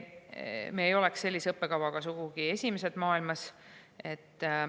Me ei oleks sellise õppekavaga sugugi esimesed maailmas.